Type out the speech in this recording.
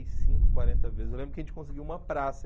e cinco, quarenta vezes. Eu lembro que a gente conseguiu uma praça.